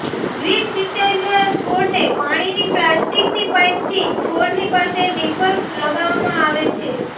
drip સિંચાઈ દ્વારા છોડને પાણીની પ્લાસ્ટીકની પાઈપથી છોડની પાસે ડિપર લગાવવામાં આવે છે